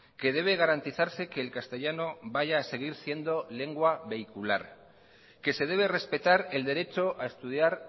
que debe garantizarse que el castellano vaya a seguir siendo lengua vehicular que se debe respetar el derecho a estudiar